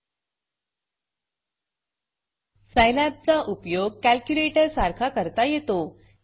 Scilabसाईलॅब चा उपयोग कॅलक्युलेटर सारखा करता येतो